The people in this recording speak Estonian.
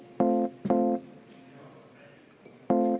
Selge.